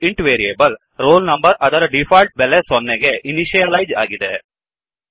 int variable roll number ಅದರ default ಬೆಲೆ ಸೊನ್ನೆಗೆ ಇನಿಷಿಯಲೈಜ್ ಆಗಿದೆ